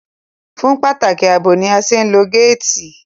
Fún pàtàkì àbò ni a ṣe ń lo gáàtì